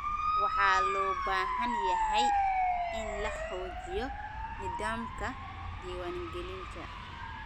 Waxa loo baahan yahay in la xoojiyo nidaamka diwaan gelinta.